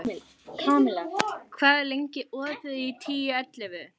Kamilla, hvað er lengi opið í Tíu ellefu?